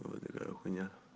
вот такая хуйня